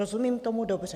Rozumím tomu dobře?